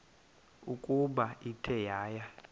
ukuba ithe yaya